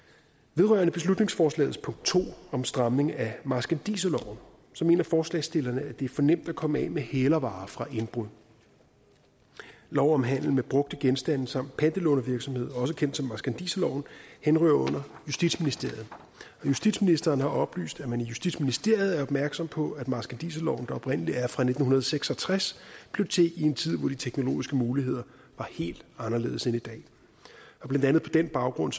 vedrørende beslutningsforslagets punkt to om stramning af marskandiserloven mener forslagsstillerne at det er for nemt at komme af med hælervarer fra indbrud lov om handel med brugte genstande samt pantelånervirksomhed også kendt som marskandiserloven henhører under justitsministeriet justitsministeren har oplyst at man i justitsministeriet er opmærksom på at marskandiserloven der oprindelig er fra nitten seks og tres blev til i en tid hvor de teknologiske muligheder var helt anderledes end i dag og blandt andet på den baggrund